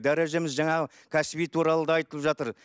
дәрежеміз жаңағы кәсіби туралы да айтылып жатыр